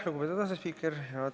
Lugupeetud asespiiker!